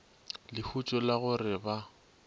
lehutšo la go re ba